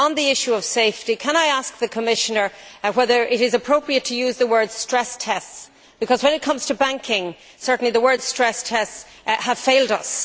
On the issue of safety, can I ask the Commissioner whether it is appropriate to use the words stress tests', because when it comes to banking, the words stress tests' have certainly failed us.